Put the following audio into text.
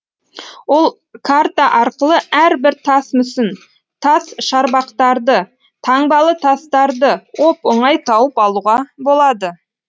ол карта арқылы әрбір тас мүсін тас шарбақтарды таңбалы тастарды оп оңай тауып алуға болады